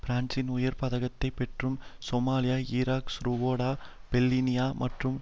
பிரான்சின் உயர் பதக்கத்தை பெற்றவரும் சோமாலியா ஈராக் ருவாண்டா பொஸ்னியா மற்றும்